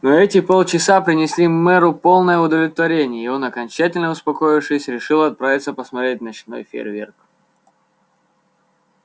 но эти полчаса принесли мэру полное удовлетворение и он окончательно успокоившись решил отправиться посмотреть ночной фейерверк